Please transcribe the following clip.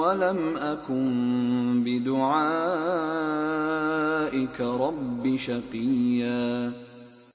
وَلَمْ أَكُن بِدُعَائِكَ رَبِّ شَقِيًّا